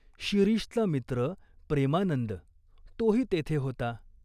शिरीषचा मित्र प्रेमानंद तोही तेथे होता.